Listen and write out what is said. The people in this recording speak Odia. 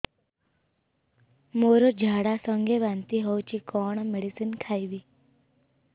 ମୋର ଝାଡା ସଂଗେ ବାନ୍ତି ହଉଚି କଣ ମେଡିସିନ ଖାଇବି